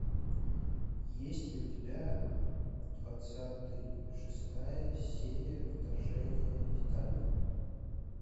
есть ли у тебя двадцатый шестая серия вторжение титанов